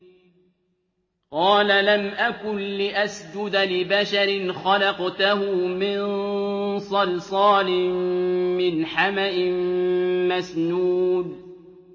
قَالَ لَمْ أَكُن لِّأَسْجُدَ لِبَشَرٍ خَلَقْتَهُ مِن صَلْصَالٍ مِّنْ حَمَإٍ مَّسْنُونٍ